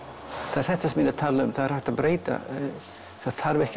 þetta sem ég er að tala um það er hægt að breyta þarf ekki